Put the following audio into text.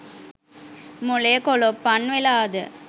මොලේ කොලොප්පන් වෙලා ද ?